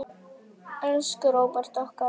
Elsku Róbert okkar.